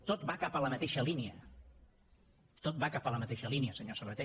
tot va cap a la mateixa línia tot va cap a la mateixa línia senyor sabaté